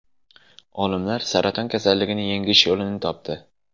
Olimlar saraton kasalligini yengish yo‘lini topdi.